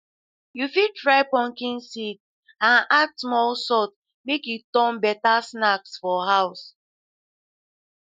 you fit fry pumpkin seeds and add small salt make e turn better snack for house